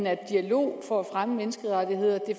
at en dialog for at fremme menneskerettigheder